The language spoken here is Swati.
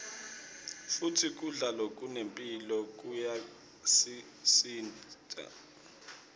futsi kudla lokunemphilo kuyasicinsa